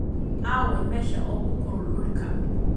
Aaway meesha ugu kulul dhulka?